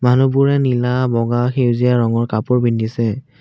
মানুহবোৰে নীলা বগা সেউজীয়া ৰঙৰ কাপোৰ পিন্ধিছে।